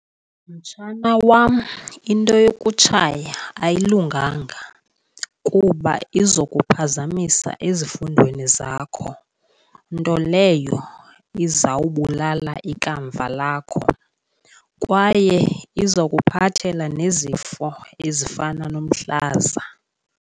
Mtshana wam, into yokutshaya ayilunganga kuba izawukuphazamisa ezifundweni zakho, nto leyo izawubulala ikamva lakho. Kwaye izawukuphathela nezifo ezifana nomhlaza.